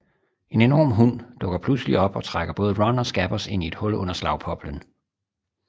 En enorm hund dukker pludselig op og trækker både Ron og Scabbers ind i et hul under Slagpoplen